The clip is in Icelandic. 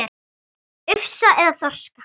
Ufsa eða þorska?